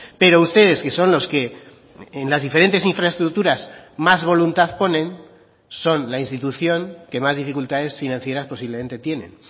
pero ustedes que son los que en las diferentes infraestructuras más voluntad ponen son la institución que más dificultades financieras posiblemente tienen